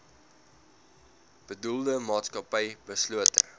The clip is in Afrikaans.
bedoelde maatskappy beslote